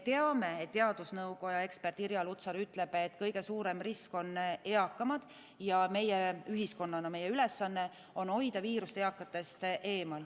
Teadusnõukoja ekspert Irja Lutsar ütleb, et kõige suurem risk on eakamad, ja ühiskonnana meie ülesanne on hoida viirus eakatest eemal.